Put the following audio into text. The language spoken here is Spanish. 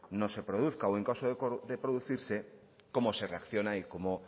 no se produzca o en caso de producirse cómo se reacciona y cómo